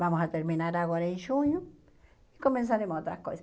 Vamos a terminar agora em junho e começaremos outras coisas.